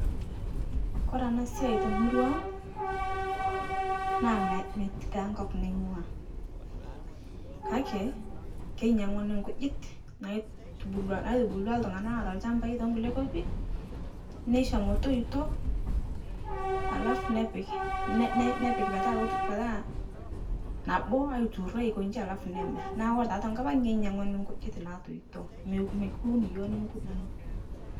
kore ana siai temuruang',naa mea metii taa nkop naing'ua, kake keinyang'uni nkujit naitubulua naitubulutwa ltung'ana loata lchambai te nkule nkopi, nesho motoito, alafu nepik ne ne nepik petaa metaa nabo aituro aikoji alafu nemir, naa koree taa tenkopang' kenyang'uni nkujit naatoito mekuun yioo nimikudung'.